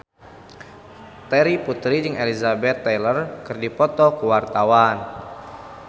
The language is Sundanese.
Terry Putri jeung Elizabeth Taylor keur dipoto ku wartawan